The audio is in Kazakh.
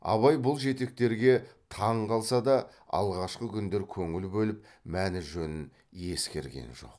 абай бұл жетектерге таң қалса да алғашқы күндер көңіл бөліп мәні жөнін ескерген жоқ